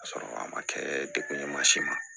Ka sɔrɔ a ma kɛ dekun ye mansin ma